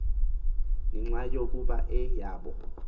ngenxa yokuba yeyabo